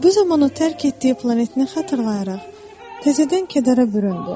Bu zaman o tərk etdiyi planetini xatırlayaraq təzədən kədərə büründü.